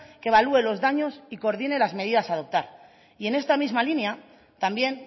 que evalúe los daños y coordine las medidas a adoptar y en esta misma línea también